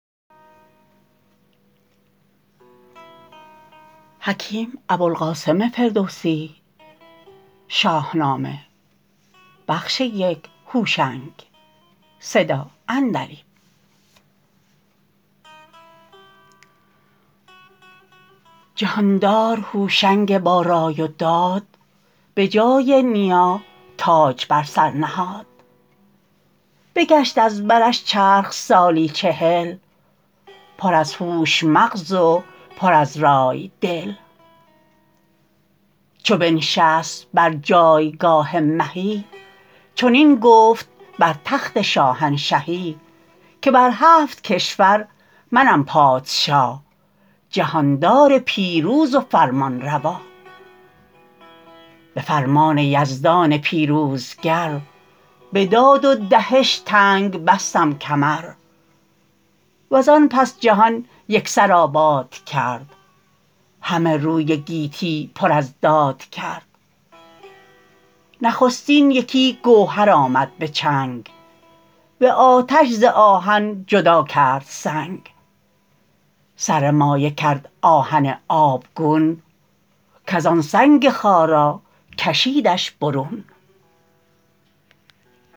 جهاندار هوشنگ با رای و داد به جای نیا تاج بر سر نهاد بگشت از برش چرخ سالی چهل پر از هوش مغز و پر از رای دل چو بنشست بر جایگاه مهی چنین گفت بر تخت شاهنشهی که بر هفت کشور منم پادشا جهاندار پیروز و فرمانروا به فرمان یزدان پیروزگر به داد و دهش تنگ بستم کمر و زان پس جهان یک سر آباد کرد همه روی گیتی پر از داد کرد نخستین یکی گوهر آمد به چنگ به آتش ز آهن جدا کرد سنگ سر مایه کرد آهن آبگون کز آن سنگ خارا کشیدش برون